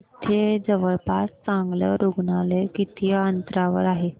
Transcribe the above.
इथे जवळपास चांगलं रुग्णालय किती अंतरावर आहे